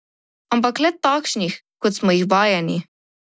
Ampak le takšnih, kot smo jih vajeni.